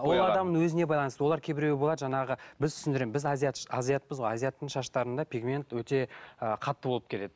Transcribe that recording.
ол адамның өзіне байланысты олар кейбіреуі болады жаңағы біз түсіндіремін біз азиатпыз ғой азиаттың шаштарында пегмент өте ы қатты болып келеді